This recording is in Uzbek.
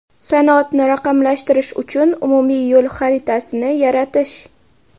sanoatni raqamlashtirish uchun umumiy yo‘l xaritasini yaratish.